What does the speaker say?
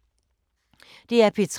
DR P3